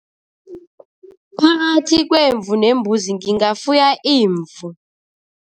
Phakathi kwemvu nembuzi, ngingafuya imvu.